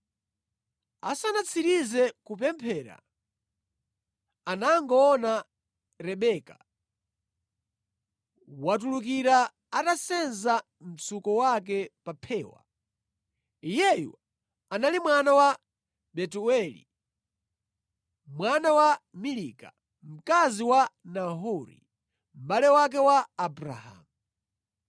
Asanatsirize kupemphera, anangoona Rebeka watulukira atasenza mtsuko wake pa phewa. Iyeyu anali mwana wa Betueli mwana wa Milika, mkazi wa Nahori mʼbale wake wa Abrahamu.